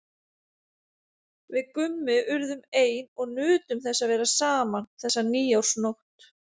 Við Gummi urðum ein og nutum þess að vera saman þessa nýársnótt.